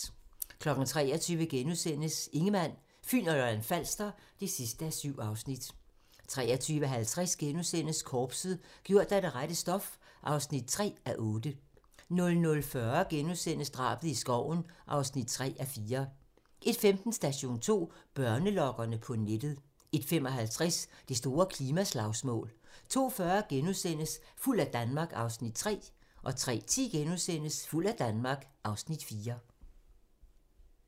23:00: Ingemann, Fyn og Lolland-Falster (7:7)* 23:50: Korpset - gjort af det rette stof (3:8)* 00:40: Drabet i skoven (3:4)* 01:15: Station 2: Børnelokkere på nettet 01:55: Det store klimaslagsmål 02:40: Fuld af Danmark (Afs. 3)* 03:10: Fuld af Danmark (Afs. 4)*